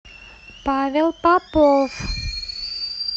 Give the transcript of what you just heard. павел попов